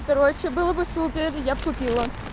короче было бы супер я бы купила